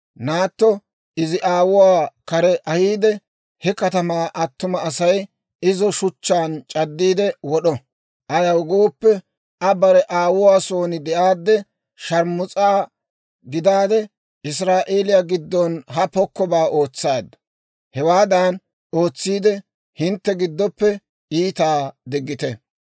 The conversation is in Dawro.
naatto izi aawuwaa kare ahiide, he katamaa attuma Asay izo shuchchaan c'addiide wod'o. Ayaw gooppe, Aa bare aawuwaa son de'aadde sharmus'a gidaade, Israa'eeliyaa giddon ha pokkobaa ootsaaddu; hewaadan ootsiide hintte giddoppe iitaa diggite.